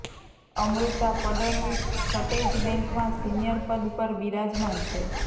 અમૃતા ફડણવીસ છટૈજ બૅંકમાં સીનિયર પદ પર બિરાજમાન છે